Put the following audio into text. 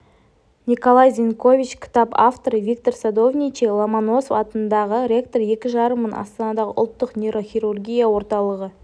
николай зенькович кітап авторы виктор садовничий ломоносов атындағы ректоры екі жарым мың астанадағы ұлттық нейрохирургия орталығы